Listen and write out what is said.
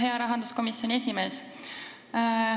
Hea rahanduskomisjoni esimees!